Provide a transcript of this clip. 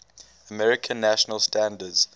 american national standards